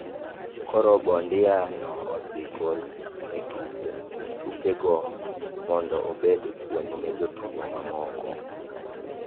Koro Bondia no idhi gol e tuke go mondo obed puonj ne jotugo mamoko.